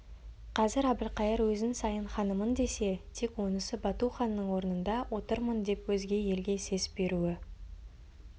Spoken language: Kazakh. қазір әбілқайыр өзін сайын ханымын десе тек онысы бату ханның орнында отырмын деп өзге елге сес беруі